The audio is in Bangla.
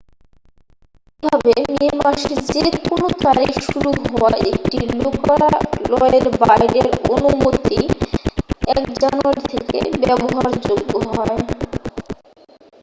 এইভাবে মে মাসে যে কোনো তারিখে শুরু হওয়া একটি লোকালয়ের বাইরের অনুমতি 1 জানুয়ারি থেকে ব্যবহারযোগ্য হয়